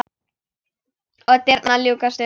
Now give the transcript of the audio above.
Og dyrnar ljúkast upp.